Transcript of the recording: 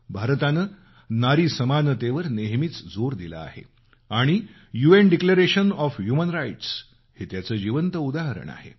भारतानं नारी समानतेवर नेहमीच जोर दिला आहे आणि मानवी हक्काबाबत यूएनचं घोषणापत्र हे त्याचं जिवंत उदाहरण आहे